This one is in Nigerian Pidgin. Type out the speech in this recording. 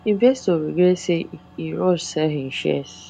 investor regret say e rush sell him shares